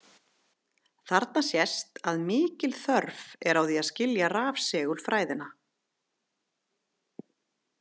Þarna sést að mikil þörf er á því að skilja rafsegulfræðina.